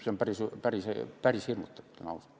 See on päris hirmutav, ütlen ausalt.